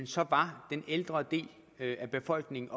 så var den ældre del af befolkningen